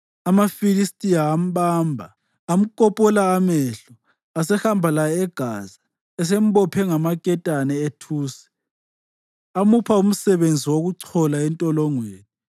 AmaFilistiya ambamba, amkopola amehlo asehamba laye eGaza. Esembophe ngamaketane ethusi, amupha umsebenzi wokuchola entolongweni.